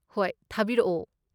ꯍꯣꯏ, ꯊꯥꯕꯤꯔꯛꯑꯣ꯫